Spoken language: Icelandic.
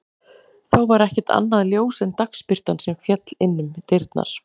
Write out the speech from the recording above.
Þá var ekkert annað ljós en dagsbirtan sem féll inn um dyrnar.